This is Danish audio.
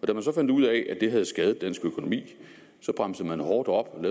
da man så fandt ud af at det havde skadet dansk økonomi bremsede man hårdt op